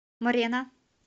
морена